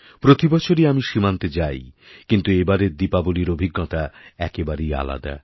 প্রতি বছরই আমি সীমান্তে যাই কিন্তু এবারেরদীপাবলির অভিজ্ঞতা একেবারেই আলাদা